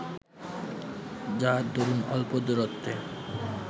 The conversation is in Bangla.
যার দরুন অল্প দূরত্বে